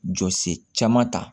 Jɔ sen caman ta